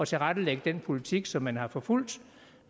tilrettelægge den politik som man har forfulgt